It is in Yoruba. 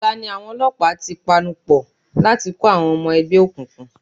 Ọ̀la ni àwọn olọ́pàá ti panupọ̀ láti kó àwọn ọmọ ẹgbẹ́ òkùnkùn.